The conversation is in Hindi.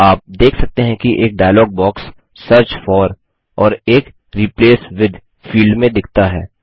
आप देख सकते हैं कि एक डायलॉग बॉक्स सर्च फोर और एक रिप्लेस विथ फील्ड में दिखता है